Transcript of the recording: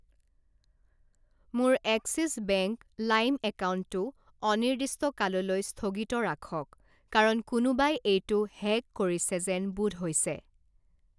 মোৰ Axis bank লাইম একাউণ্টটো অনিৰ্দিষ্টকাললৈ স্থগিত ৰাখক, কাৰণ কোনোবাই এইটো হেক কৰিছে যেন বোধ হৈছে।